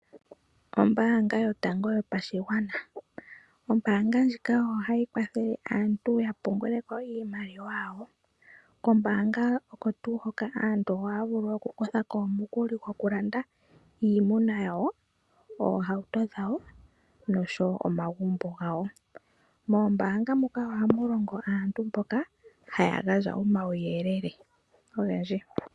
Ombaanga yotango yopashigwana. Ombaanga ndjika ohayi kwathele aantu ya pungule ko iimaliwa yawo. Kombaanga oko tuu hoka aantu ohaya vulu oku kutha ko omukuli gokulanda iimuna yawo, oohauto dhawo noshowo omagumbo gawo. Moombaanga muka ohamu longo aantu mboka haya gandja omauyelele ogendji.